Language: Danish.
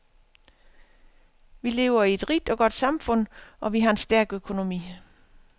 Vi lever i et rigt og godt samfund, og vi har en stærk økonomi.